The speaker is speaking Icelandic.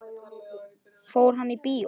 Fór hann í bíó?